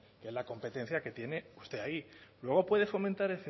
la competencia que tiene usted ahí luego puede fomentar